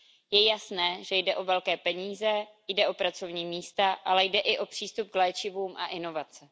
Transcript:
Je jasné, že jde o velké peníze, jde o pracovní místa, ale jde i o přístup k léčivům a inovace.